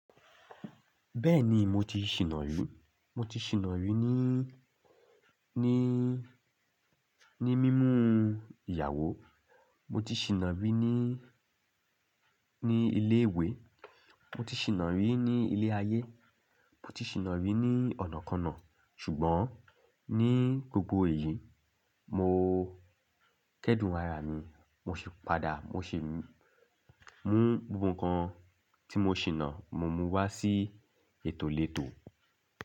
Bẹ́ẹ̀ni mo ti ṣìná rí, mo ti ṣìná rí ní, ní, ní mímu ìyàwó, mo ti ṣìná rí ní, ní ilé ìwé, mo ti ṣìná rí ní ilé ayé, mo ti ṣìná rí ní ọ̀nà kan náà, ṣùgbọ́n ní gbogbo ìlú mo kẹ́dùn ara mi, mo sì padà mo sì mú gbogbo nǹkan tí mo ṣìná, mo mú un wá sí ètò lẹ́tò.